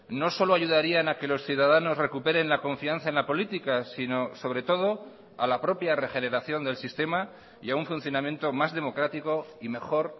no solo ayudarían a que los ciudadanos recuperen la confianza en la política sino sobre todo a la propia regeneración del sistema y a un funcionamiento más democrático y mejor